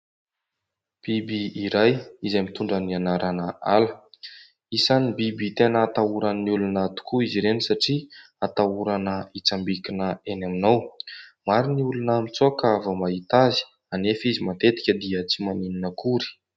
Biby iray izay mitondra ny anarana ala. Isan'ny biby tena atahoran'ny olona tokoa izy ireny satria atahorana hitsambikina eny aminao. Maro ny olona mitsoaka vao mahita azy, anefa izy matetika tsy maninona akory.